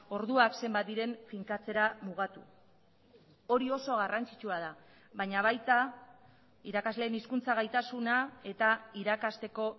orduak zenbat diren finkatzera mugatu hori oso garrantzitsua da baina baita irakasleen hizkuntza gaitasuna eta irakasteko